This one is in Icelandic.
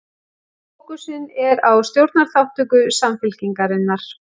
Fókusinn er á stjórnarþátttöku Samfylkingarinnar